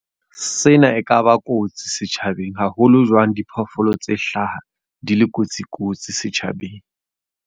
Sena e ka ba kotsi setjhabeng. Haholo jwang diphoofolo tse hlaha di le kotsi kotsi setjhabeng.